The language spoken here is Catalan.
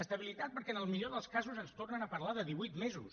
estabilitat perquè en el millor dels casos ens tornen a parlar de divuit mesos